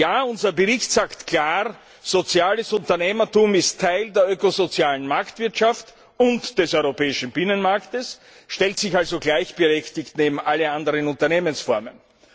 Ja, unser Bericht sagt klar, soziales Unternehmertum ist Teil der ökosozialen Marktwirtschaft und des europäischen Binnenmarkts, stellt sich also gleichberechtigt neben alle anderen Unternehmensformen.